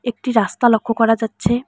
একটি রাস্তা লক্ষ্য করা যাচ্ছে।